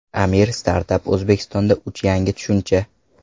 Amir: Startap O‘zbekiston uchun yangi tushuncha.